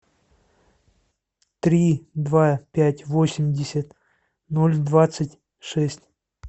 три два пять восемьдесят ноль двадцать шесть